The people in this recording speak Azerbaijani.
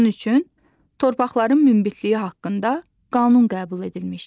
Bunun üçün torpaqların münbitliyi haqqında qanun qəbul edilmişdi.